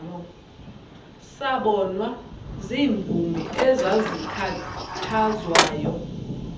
sabonwa ziimvumi ezazikhathazwayo